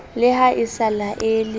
le ha e sa laele